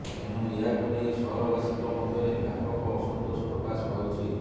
ଏଣୁ ଏହାକୁ ନେଇ ସହରବାସୀଙ୍କ ମଧ୍ୟରେ ବ୍ୟାପକ ଅସନ୍ତୋଷ ପ୍ରକାଶ ପାଉଛି